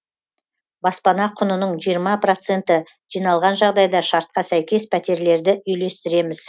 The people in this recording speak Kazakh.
баспана құнының жиырма проценті жиналған жағдайда шартқа сәйкес пәтерлерді үйлестіреміз